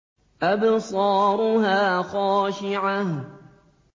أَبْصَارُهَا خَاشِعَةٌ